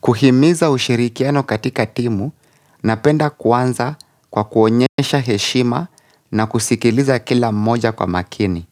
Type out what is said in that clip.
Kuhimiza ushirikiano katika timu, napenda kuanza kwa kuonyesha heshima na kusikiliza kila moja kwa makini.